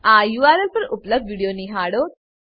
આ યુઆરએલ પર ઉપલબ્ધ વિડીયો નિહાળો